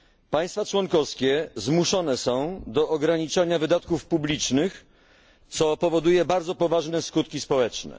Państwa członkowskie zmuszone są do ograniczania wydatków publicznych, co powoduje bardzo poważne skutki społeczne.